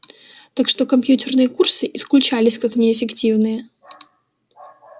так что компьютерные курсы исключались как неэффективные